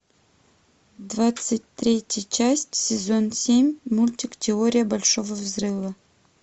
двадцать третья часть сезон семь мультик теория большого взрыва